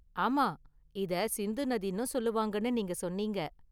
ஆமா, இத சிந்து நதின்னும் சொல்லுவாங்கன்னு நீங்க சொன்னீங்க​.